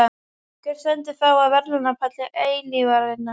Hver stendur þá á verðlaunapalli eilífðarinnar?